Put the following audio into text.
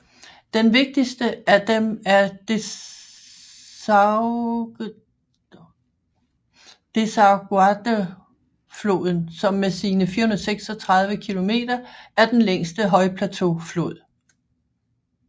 Den vigtigste af dem er Desaguaderofloden som med sine 436 kilometer er den længste højplateauflod